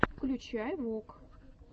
включай вок